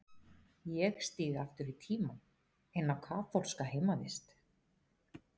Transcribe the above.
Ég stíg aftur í tímann, inn á kaþólska heimavist.